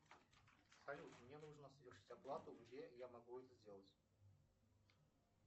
салют мне нужно совершить оплату где я могу это сделать